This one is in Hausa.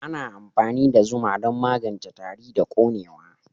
Ana amfani da zuma don magance tari da konewa.